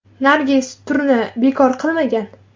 Nargiz turni bekor qilmagan.